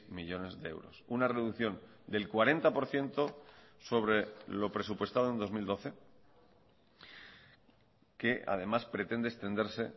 millónes de euros una reducción del cuarenta por ciento sobre lo presupuestado en dos mil doce que además pretende extenderse